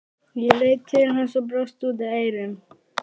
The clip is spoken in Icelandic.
Ég leit til hans og brosti út að eyrum.